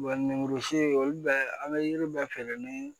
lemurusun bɛɛ an bɛ yiri bɛɛ feere ni